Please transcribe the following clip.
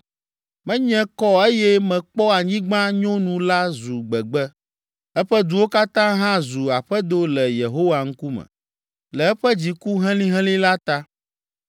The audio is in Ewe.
Menye kɔ eye mekpɔ anyigba nyonu la zu gbegbe; eƒe duwo katã hã zu aƒedo le Yehowa ŋkume le eƒe dziku helĩhelĩ la ta.